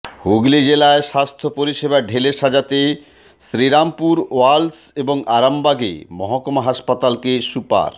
হুগলি জেলায় স্বাস্থ্য পরিষেবা ঢেলে সাজাতে শ্রীরামপুর ওয়ালশ এবং আরামবাগে মহকুমা হাসপাতালকে সুপার